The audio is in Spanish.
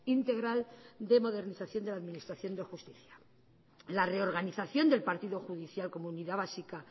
integral de modernización de la administración de justicia la reorganización del partido judicial como unidad básica